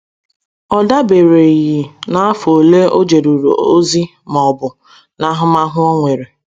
Ọ dabereghị n’afọ ole o jeruru ozi ma ọ bụ n’ahụmahụ o nwere.